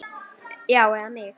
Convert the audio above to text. Já, eða mig?